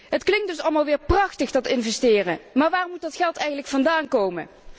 Het klinkt dus allemaal weer prachtig dat investeren, maar waar moet dat geld eigenlijk vandaan komen?